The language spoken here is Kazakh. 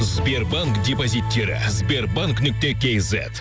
сбербанк депозиттері сбербанк нүкте кейзет